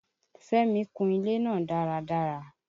Fẹ́mi kun ilé náà dáradára.